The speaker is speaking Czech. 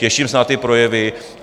Těším se na ty projevy.